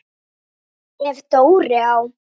Ef Dóri á